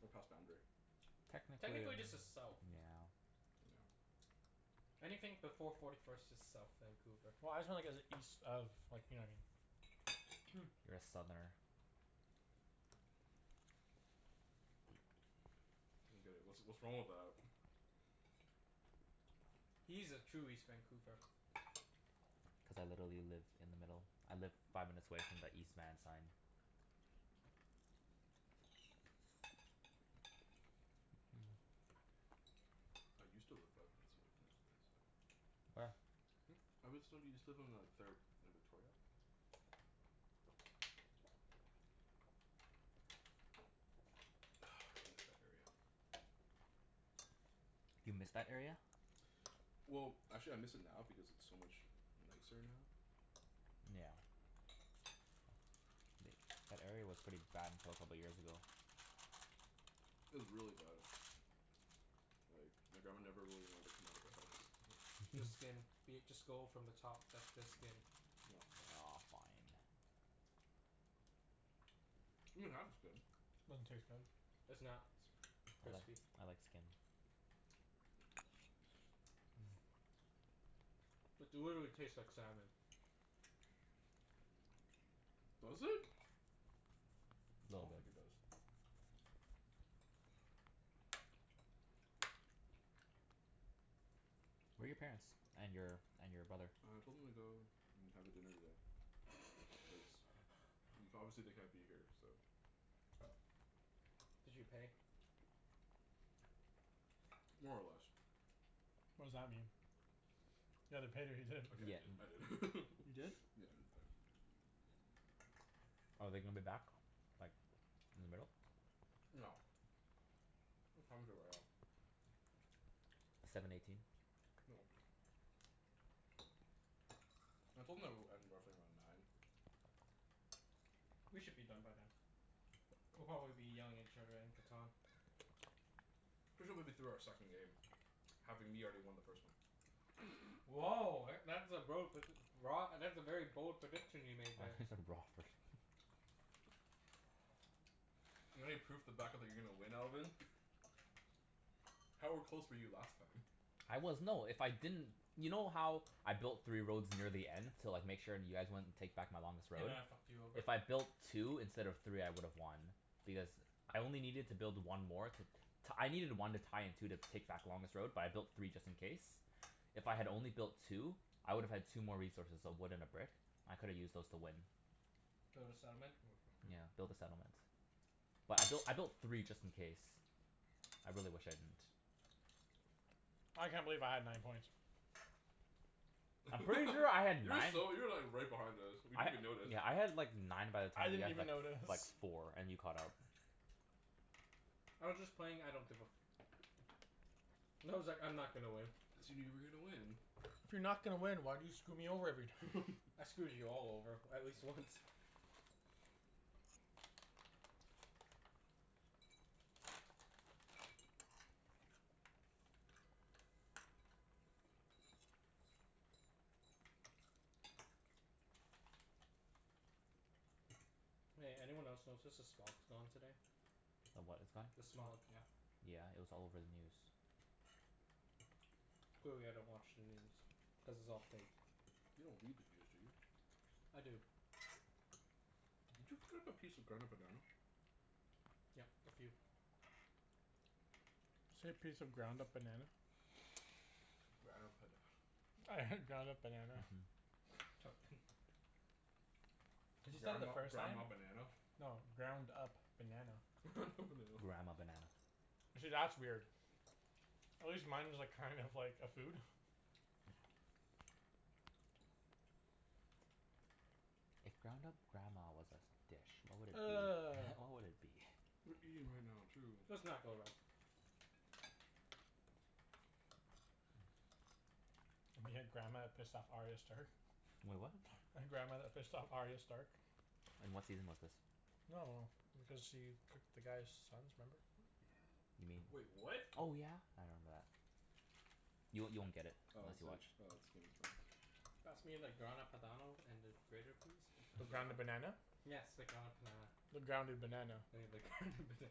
We're past Boundary. Technically, yeah. Technically this is south. Yeah. I don't Anything before forty first is south Vancouver. Well, I was just wonder cuz it's east of, you know what I mean? You're a southerner. get it. What's what's wrong with that? He's a true east Vancouver. Cuz I literally live in the middle. I live five minutes away from the East Van sign. I used to live five minutes away from the East Van sign. Where? Hmm? I was so, used to live on like third and Victoria. I miss that area. Do you miss that area? Well, actually I miss it now because it's so much nicer now. Yeah. Like, that area was pretty bad until a couple years ago. It was really bad. Like, my grandma never really wanted to come out of the The skin. house. Be it, just go from the top. That's the skin. Yeah. Aw, fine. You can have the skin. Doesn't taste good. It's not I like crispy. I like skin. It literally tastes like salmon. Mmm. Does it? I Little don't think bit. it does. Where are your parents? And your and your brother? I told them to go and have a dinner today, cuz y- obviously they can't be here, so Did you pay? More or less. What does that mean? You either paid or you didn't. Okay, Yeah, I didn't. I an- didn't. You didn't? Yeah, I didn't pay. Are they gonna be back, like, in the middle? No. What time is it right now? Seven eighteen. They won't be. I told them that it would end roughly around nine. We should be done by then. We'll probably be yelling at each other in Catan. We should be be through our second game. Having me already won the first one. Woah, e- that's a bro predic- broa- that's a very bold prediction you made I thought there. you said raw at first. Not any proof to back up that you're going to win, Alvin? How are close were you last time? I was, no, if I didn't You know how I built three roads near the end? To like, make sure you guys wouldn't take back my longest They road? might have fucked you over. If I built two instead of three I would have won. Because I only needed to build one more to t- I needed one to tie and two to take back the longest road, but I built three just in case. If I had only built two, I would have had two more resources. So a wood and a brick. I could've used those to win. Build a settlement? Yeah, build a settlement. But I built I built three just in case. I really wish I didn't. I can't believe I had nine points. I'm pretty sure I had You were nine so, you were like right behind us. We I didn't ha- even notice. yeah, I had like nine by the I time you didn't had even like f- like notice. four, and you caught up. I was just playing I don't give a f- I was like, "I'm not gonna win." Assuming you were gonna win? If you're not gonna win, why do you screw me over every time? I screwed you all over at least once. Hey, anyone else notice s- the smog's gone today? The what is gone? The smog, yeah. Yeah, it was all over the news. Clearly I don't watch the news. Cuz it's all fake. You don't read the news, do you? I do. Did you cut up a piece of Grana Padano? Yep, a few. Say piece of ground Grana up Pada- banana? I heard ground up banana. Cuz you said it the Grandma first time. grandma banana? No. Ground up banana. Grandma banana. See, that's weird. At least mine was like, kind of like a food. If ground up grandma was a s- dish, what would it be? What would it be? We're eating right now, too. Let's not go rub. We had grandma that pissed off Arya Stark? Wait, What? The grandma that pissed off Arya Stark. In what season was this? No no no. Because she cooked the guy's sons, remember? You mean, Wait, what? oh yeah! I remember that. Y- you won't get it Oh unless is you it watch oh, it's skin Pass me the Grana Padano and the grater please? The ground up Grana Padan- banana? Yes, the ground up panana. The grounded banana. Yeah, the ground up banana.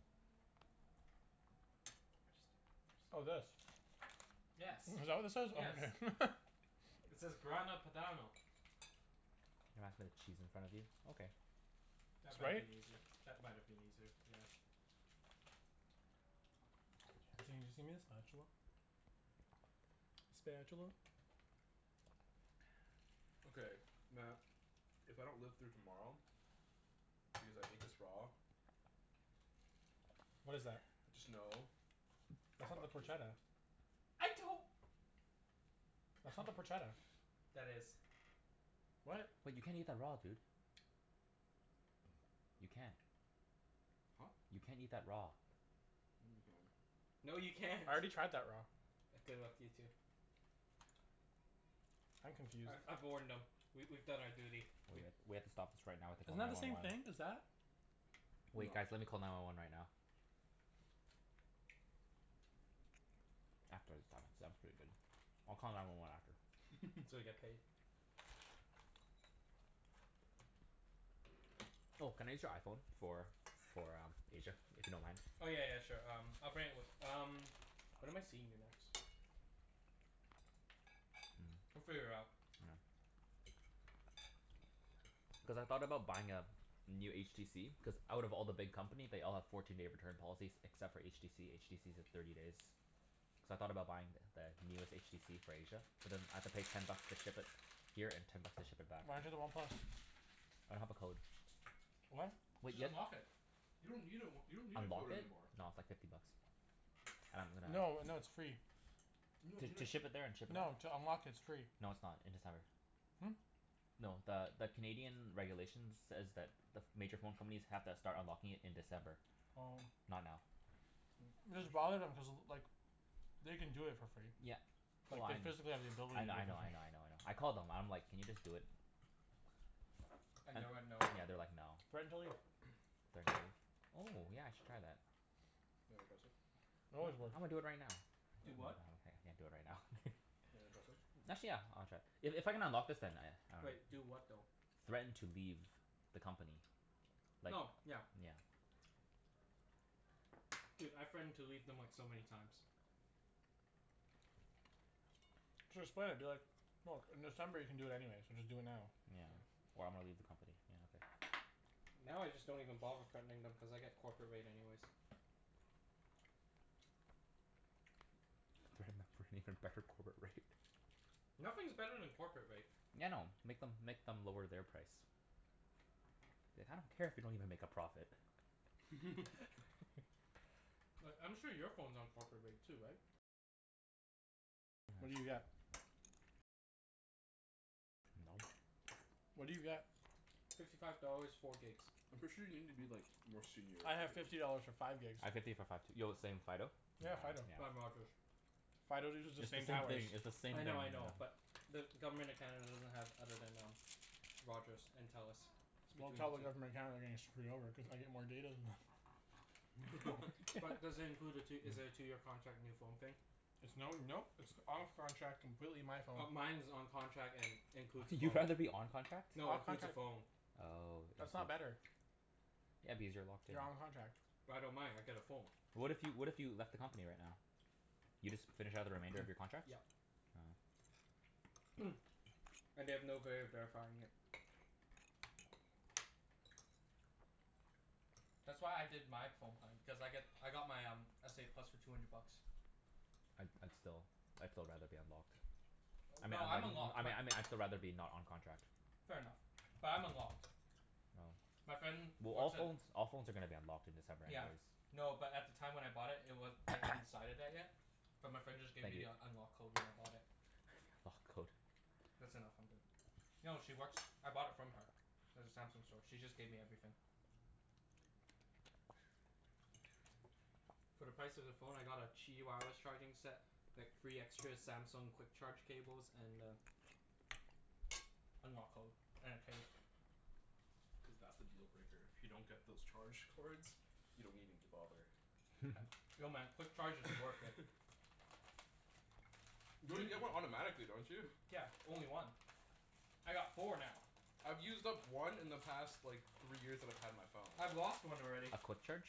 Oh, this? Yes. Is that what this is? Oh Yes. okay. It says Grana Padano. Can you pass me the cheese in front of you? Okay. That might been easier. That might have been easier, yeah. the spatula? Spatula. Okay, Mat, if I don't live through tomorrow because I ate this raw What is that? just know It's not the fuck you. porchetta? I don't That's not the porchetta. That is. What? Wait, you can't eat that raw, dude. You can't. Huh? You can't eat that raw. Yeah, you can. No, you can't. I already tried that raw. Good luck to you, too. I'm confused. I I've warned No. them. We we've done our duty. We We h- we have to stop this right now and Isn't call that nine the one same one. thing as that? Wait guys, No. let me call nine one one right now. After the salmon. The salmon's pretty good. I'll call nine one one after. So we get paid. Oh, can I use your iPhone for for uh, Asia, if you don't mind? Oh, yeah yeah yeah, sure. Um, I'll bring it with um When am I seeing you next? We'll Mm, figure it out. yeah. Cuz I thought about buying a new HTC Cuz out of all the big company they all have fourteen day return policies except for HTC. HTC's a thirty days. So I thought about buying th- the newest HTC for Asia. But then I have to pay ten bucks to ship it here and ten bucks to ship it back. Why don't you do the one plus? I don't have a code. What? Wait, Just ye- unlock it. You don't need a w- you don't need a Unlock code it? anymore. No, it's like fifty bucks. I'm gonna No, no, it's free. You don- To you to d- ship it there and ship it back? No, to unlock it, it's free. No, it's not. In December. Hmm? No, the the Canadian regulations says that the ph- major phone companies have to start unlocking it in December. Oh. Not now. Just bother them, cuz like they can do it for free. Yeah, well Like, I they kn- physically have the I kn- I ability to know, I know, I know, I know. I called them and I'm like, "Can you just do it?" And And they went, "No"? yeah, they're like, "No." Threaten to leave. Threaten to leave? Oh, yeah I should try that. Wanna try a sip? They always will. I'm gonna do it right now. Do what? What? I can't do it right now. You wanna try some? Actually, yeah. I wanna try. I- if I can unlock this then I, I dunno. Wait. Do what, though? Threaten to leave the company. Like, Oh, yeah. yeah. Dude, I threatened to leave them like, so many times. Just play it, be like, "Look, in December you can do it anyways, so just do it now." Yeah. "Or I'm gonna leave the company." Yeah, okay. Now, I just don't even bother threatening them cuz I get corporate rate anyways. Threaten them for an even better corporate rate. Nothing's better than corporate rate. Yeah, I know. Make them make them lower their price. Like, I don't care if you don't even make a profit. Like, I'm sure your phone's on corporate rate too, right? Yeah. No. What do you get? Fifty five dollars, four gigs. I'm pretty sure you need to be like, more senior I have to get fifty it. dollars for five gigs. I have fifty for five too. Yo, the same, Fido? Yeah, Yeah, Fido. I'm yeah. Rogers. Fido uses It's the the same same thing. towers. It's the same I thing, know, I know, yeah. but the Government of Canada doesn't have other than um Rogers and Telus. It's Well, between tell the the two. Government of Canada they're getting screwed over, cuz I get more data than them. But does it include a tw- is it a two year contract, new phone thing? It's no, no. It's off contract, completely my phone. Oh, mine's on contract and includes a phone. You'd rather be on contract? No, includes a phone. Oh, I That's see. not better. Yeah, because you're locked in. You're on contract. But I don't mind. I get a phone. What if you, what if you left the company right now? You just finish out the remainder of your contracts? Yeah. Oh. And they have no vay of verifying it. That's why I did my phone plan. Cuz I got I got my um, s a plus for two hundred bucks. I'd I'd still, I'd still rather be unlocked. I mean No, I I'm mean I unlocked. My mean I mean I'd still rather be not on contract. Fair enough. But I'm unlocked. Oh. My friend Well, all works at phones all phones are gonna be unlocked in December Yeah. anyways. No, but at the time when I bought it, it wa- they hadn't decided that yet. But my friend just gave Thank me you. the unlock code when I bought it. Lock code. That's enough. I'm good. No, she works, I bought it from her. At the Samsung store. She just gave me everything. For the price of the phone I got a charging set. Like, three extra Samsung quick charge cables and a unlock code. And a case. Cuz that's the deal breaker. If you don't get those charge cords you don't even g- bother. No man, quick charge is worth it. You You already d- get one automatically, don't you? Yeah, only one. I got four now. I've used up one in the past like three years that I've had my phone. I've lost one already. A quick charge?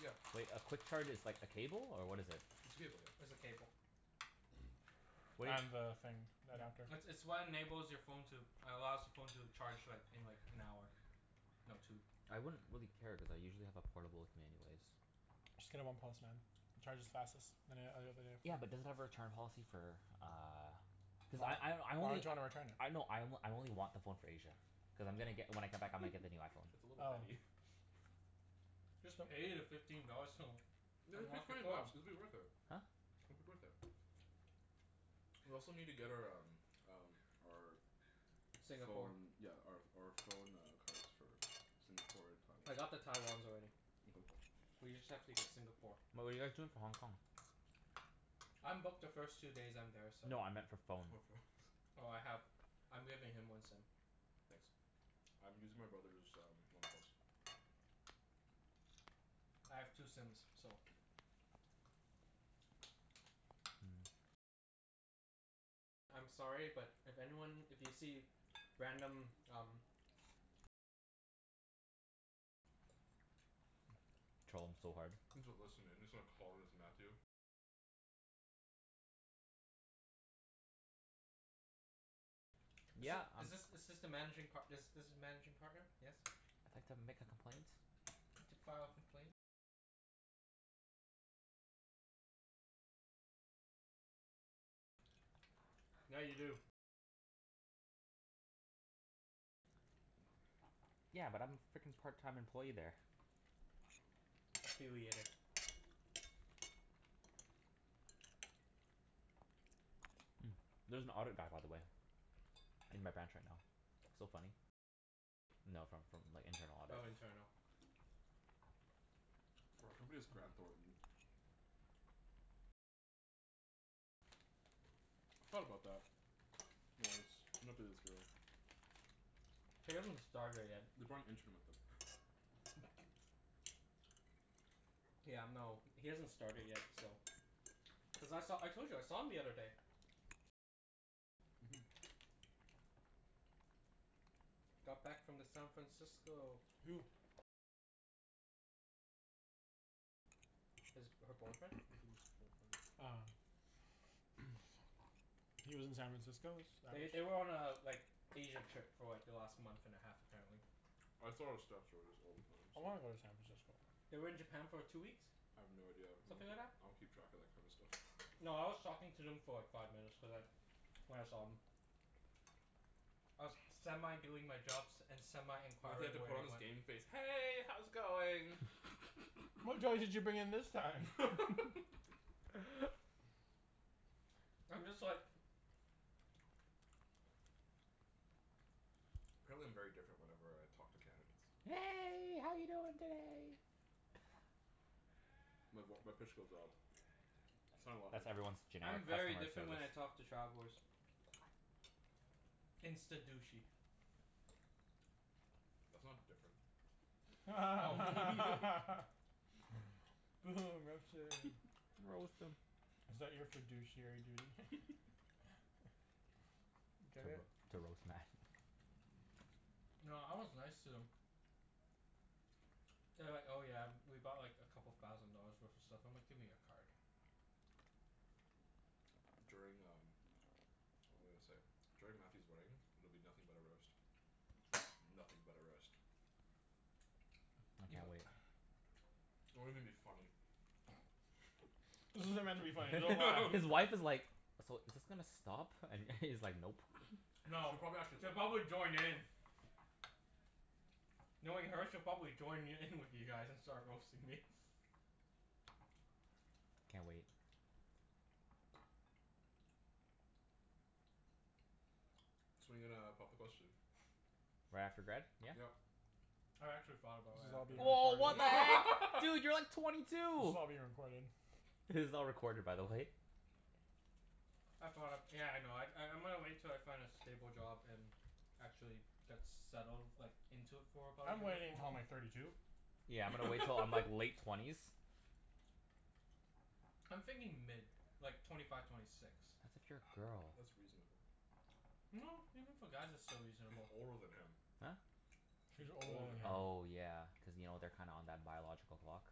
Yeah. Wait, a quick charge is like a cable, or what is it? It's a cable, yeah. It's a cable. Wait And the thing. Yeah. Adapter. It's it's what enables your phone to allows the phone to charge like, in like, an hour. No, two. I wouldn't really care cuz I usually have a portable with me anyways. Just get a one plus, man. It charges fastest than an- oth- other Yeah, but does it have a return policy for uh Cuz I I I Why only would you wanna return it? I know, I o- I only want the phone for Asia. Cuz I'm gonna get, when I come back I'm gonna get the new iPhone. That's a little Oh. petty. Just pay the fifteen dollars to Yeah, just pay unlock your twenty phone. bucks. It'll be worth it. Huh? It'll be worth it. We also need to get our um um our Singapore. phone, yeah, our ph- our phone uh cards. For Singapore and I got the Taiwan. Taiwans already. We just have to get Singapore. But what are you guys doing for Hong Kong? I'm booked the first two days I'm there, so No, I meant for For phone. phones. Oh, I have, I'm giving him one sim. Nice. I'm using my brother's um one plus. I have two sims, so I'm sorry, but if anyone, if you see random, um Troll them so hard. Is th- Yeah, um is this is this the managing par- this this is managing partner? Yes? I'd like to make a complaint. To file a complaint Yeah, you do. Yeah, but I'm frickin' part time employee there. Affiliated. Mm, there's an audit guy, by the way. In my branch right now. Oh, internal. For our company it's Graham Thornton. I thought about that. He hasn't started yet. They're probably interning with him. Yeah, no, he hasn't started yet, so Cuz I saw, I told you I saw him the other day. Mhm. Got back from the San Francisco. Who? His, her boyfriend. Ah. He lives in San Francisco? Is They th- they were on a like, Asia trip for like, the last month and a half apparently. I wanna go to San Francisco. They were in Japan for two weeks. I have no idea. I Something like don't that. I don't keep track of that kind of stuff. No, I was talking to them for like, five minutes cuz I when I saw 'em. I was semi doing my jobs and semi He had to inquiring where put they on his went. game face. "Hey, how's it going?" What drugs did you bring in this time? I'm just like Apparently I'm very different whenever I talk to candidates. "Hey, how you doing today?" My voi- my pitch goes up. I sound a lot That's nicer. everyone's I'm generic very different when customer I service. talk to travelers. Insta douchey. That's not different. Oh Is that your fiduciary duty? f- To Get it? ro- to roast Mat. No, I was nice to them. They were like, "Oh yeah, we bought like, a couple thousand dollars worth of stuff." I'm like, "Give me your card." During um, what was I gonna say? During Mathew's wedding, it'll be nothing but a roast. Nothing but a roast. I You mi- can't wait. It won't even be funny. This isn't meant to be funny His wife is like, "So, is this gonna stop?" And he's like, "Nope." No, She probably actually she'll would. probably join in. Knowing her, she'll probably join y- in with you guys and start roasting me. Can't wait. So when are you gonna pop the question? Right after grad, yeah? Yep. I actually thought about This is right all after being grad. Woah, what the heck? Dude! You're like twenty This two! is all being recorded. This is all recorded, by the way. I thought of, yeah, I know. I I'm gonna wait till I find a stable job and actually get settled like, into it for about a I'm year waiting before. until I'm like thirty two. Yeah, I'm gonna wait til I'm like late twenties. I'm thinking mid. Like, twenty five, twenty six. That's if you're a girl. That's reasonable. No, even for guys it's still She's reasonable. older than him. Huh? She's She's older older than than him. him. Oh yeah, cuz you know, they're kinda on that biological clock.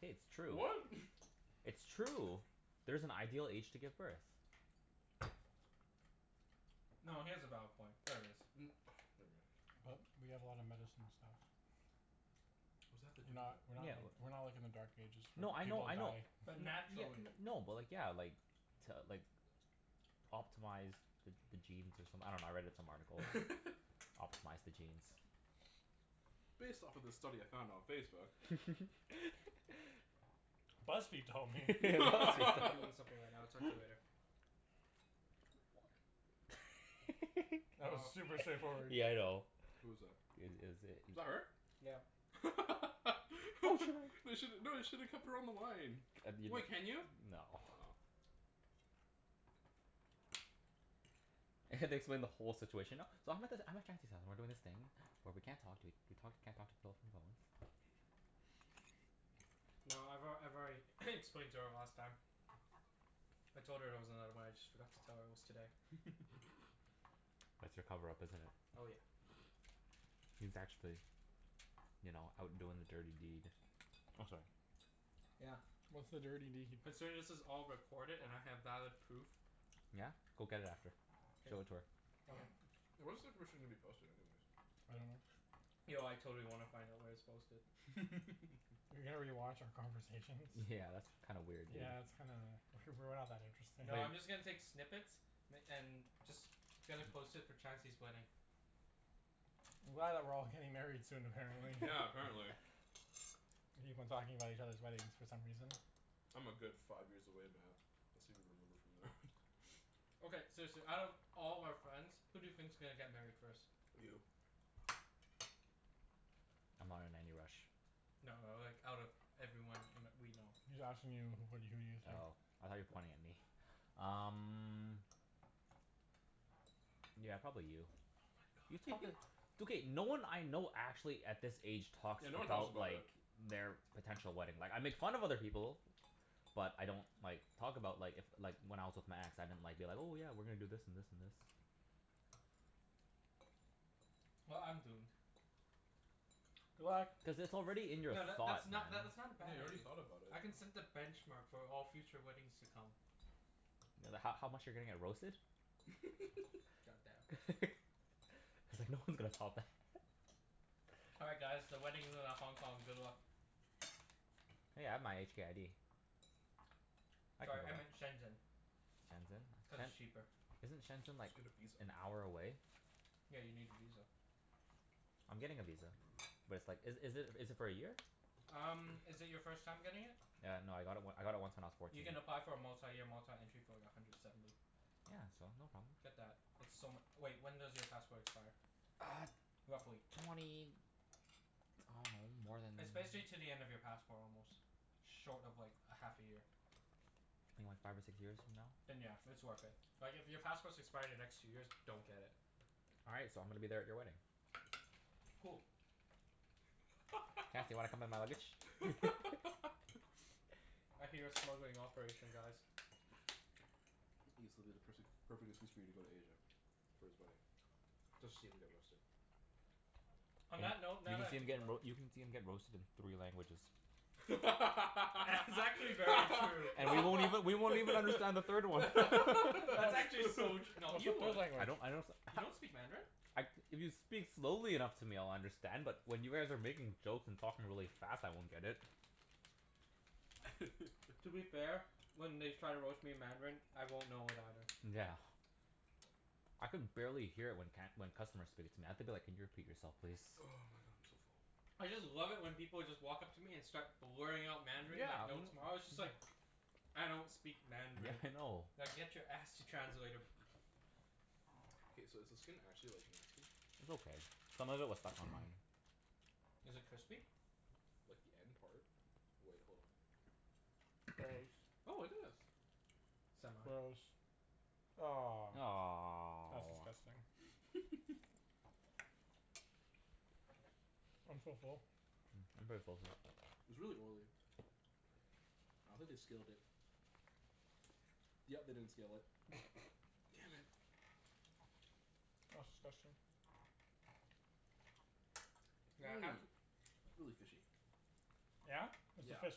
Hey, it's true. What? It's true. There's an ideal age to give birth. No, he has a valid point. There is. Mm, But we never have a lot of mind. medicine and stuff. What does that We're have to do with not we're not Yeah, like w- we're not like in the dark ages No, where I know, people I know. die. But Ye- naturally. n- no, but like, yeah, like to like optimize the the genes or someth- I dunno, I read it in some article. it? Optimize the genes. Based off of this study I found on Facebook. BuzzFeed told me. Hey babe. BuzzFeed I'm told I'm doing me. something right now. I'll talk to you later. That was Oh. super straightforward. Yeah, I know. Who was that? I- it is Was i- that her? Yeah. You should, no, you should've kept her on the line. No. Oh. I have to explain the whole situation now. So I'm at this, I'm at Chancey's hou- and we're doing this thing where we can't talk to ea- we talk, we can't talk to people from phones. No, I've al- I've already explained to her last time. I told her there was another one, I just forgot to tell her it was today. That's your cover up, isn't it? Oh yeah. He's actually you know, out doing the dirty deed. Oh, sorry. Yeah. What's the dirty deed? Considering this is all recorded and I have valid proof. Yeah? Go get it after. K. Show it to her. Okay. Where's the information gonna be posted, anyways? I dunno. Yo, I totally wanna find out where it's posted. rewatch our conversation? Yeah, that's kind of weird, dude. Yeah, that's kinda W- we're not that interesting. No, I'm They just gonna take snippets m- and just gonna post it for Chancey's wedding. I'm glad that we're all getting married soon, apparently. Yeah, apparently. We keep on talking about each other's weddings for some reason. I'm a good five years away, Mat. Okay, seriously, out of all our friends, who do you think's gonna get married first? You. I'm not in any rush. No, like, out of everyone in we know. He's asking you who wh- who do you think? Oh, I thought you were pointing at me. Um Yeah, probably you. Oh my god. It's okay. No one I know actually, at this age, talks Yeah, no one talks about about like it. their potential wedding. Like, I make fun of other people. But I don't like, talk about like, if like, when I was with my ex, I didn't like, be like, "Oh yeah, we're gonna do this and this and this." Well, I'm doomed. What? Cuz it's already in your No, tha- thought, that's man. not that's not a Yeah, bad you already idea. thought about it. I can set the benchmark for all future weddings to come. Th- h- how much you're gonna get roasted? God damn. He's like, "No one's gonna top that." All right, guys, the wedding's in a Hong Kong. Good luck. Hey, I have my HK ID. I can Sorry, I go. meant Shenzhen, Shenzhen? cuz Shen- it's cheaper. Isn't Shenzhen Just like, get a visa. an hour away? Yeah, you need a visa. I'm getting a visa. But it's like, is is it is it for a year? Um, is it your first time getting it? Yeah, no, I got it w- I got it once when I was You fourteen. can apply for a multi-year, multi-entry for like, a hundred seventy. Yeah, so no problem. Get that. It's so mu- wait, when does your passport expire? Uh Roughly? twenty, I dunno, more than It's basically to the end of your passport almost. Short of like, a half a year. Maybe like five or six years from now? Then yeah, it's worth it. Like, if your passports expire the next two years, don't get it. All right, so I'm gonna be there at your wedding. Cool. Chancey, wanna come in my luggage? I hear a smuggling operation, guys. Ibs, it'll be the pers- the perfect excuse for you to go to Asia. For his wedding. Just to see him get roasted. On Y- that note you can see him get roa- you can see him get roasted in three languages. That's actually very true. And we won't even, we won't even understand the third one. That's actually so tr- no, you What would. I don't language? I don't s- You don't speak Mandarin? I, if you speak slowly enough to me I'll understand, but when you guys are making jokes and talking really fast, I won't get it. To be fair, when they try to roast me in Mandarin, I won't know it either. Yeah. I can barely hear it when can- when customers speak it. I have to be like, "Can you repeat yourself, please?" Oh my god, I'm so full. I just love it when people just walk up to me and start blurring out Mandarin Yeah, like no m- tomorrow. It's just like I don't speak Yeah, Mandarin. I know. Now get your ass to translator. K, so is the skin actually like nasty? It's okay. Some of it was stuck on mine. Is it crispy? Like the end part. Wait, hold on. Gross. Oh, it is. Semi. Gross. Ah. That's Aw. disgusting. I'm so full. Mm, I'm pretty full too. It's really oily. I don't think they scaled it. Yep, they didn't scale it. Damn it. That's disgusting. Yeah, half Mmm. It's really fishy. Yeah? Is the Yeah. fish